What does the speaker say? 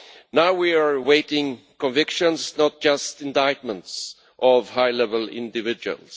Now we are awaiting convictions and not just indictments of high level individuals.